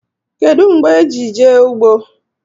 Kedu mgbe e ji jee ụgbọ?